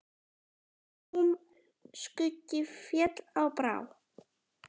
Húm skuggi féll á brá.